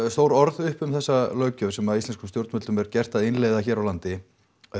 stór orð um þessa löggjöf sem íslenskum stjórnvöldum er gert að innleiða hér á landi